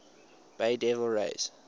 bay devil rays